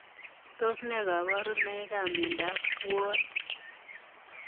Tos ne kabarunoik ap miondoop puonik ?